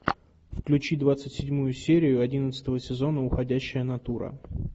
включи двадцать седьмую серию одиннадцатого сезона уходящая натура